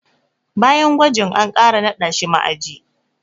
Bayan gwajin, an ƙara naɗa shi ma'aji.